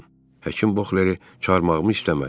Həkim Bokhleri çağırmağımı istəmədi.